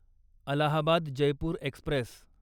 Allahabad Jaipur Express